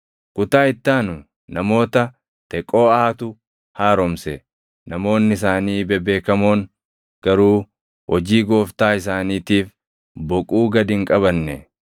Kutaa itti aanu namoota Teqooʼaatu haaromse; namoonni isaanii bebeekamoon garuu hojii Gooftaa isaaniitiif boquu gad hin qabanne.